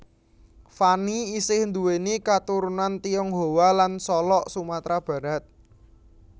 Fanny isih nduwèni katurunan Tionghoa lan Solok Sumatera Barat